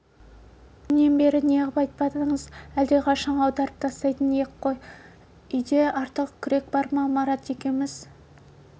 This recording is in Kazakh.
әнеугүннен бері неғып айтпадыңыз әлдеқашан аударып тастайтын ек қой үйде артық күрек бар ма марат екеуіміз